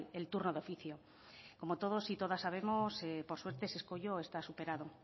el turno de oficio como todos y todas sabemos por suerte ese escollo está superado